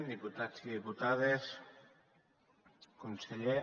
diputats i diputades conseller